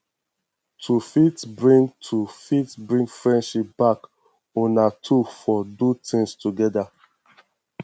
to fit bring to fit bring friendship back una two for do things together